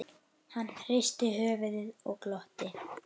Hann hristi höfuðið og glotti.